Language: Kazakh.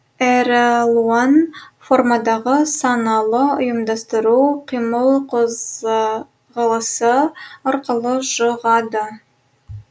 әралуан формадағы саналы ұйымдастыру қимыл қозғалысы арқылы жұғады